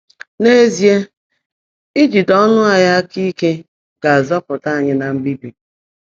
N’ezie, ijide ọnụ anyị aka ike ga-azọpụta anyị na mbibi.